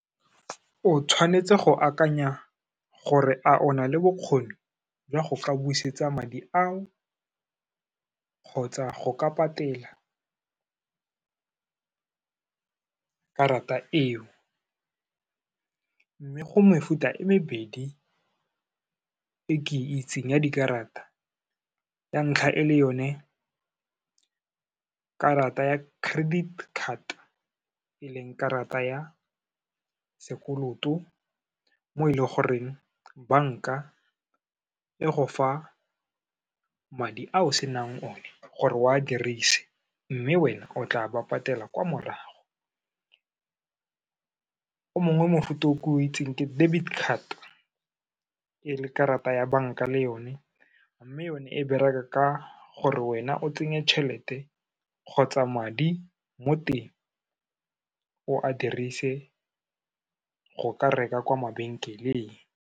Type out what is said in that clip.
O tshwanetse go akanya gore a o na le bokgoni jwa go ka busetsa madi ao, kgotsa go ka patela karata eo. Mme go mefuta e mebedi e ke itseng ya dikarata, ya ntlha e le yone karata ya credit card, e leng karata ya sekoloto, mo e le goreng, banka e go fa madi a o senang o ne gore o a dirise, mme wena o tla ba patela kwa morago. O mongwe mofuta o ke o itseng ke debit card, e le karata ya banka le yone, mme yone e bereka ka gore wena o tsenye tšhelete kgotsa madi mo teng, o a dirise go ka reka kwa mabenkeleng.